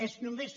és només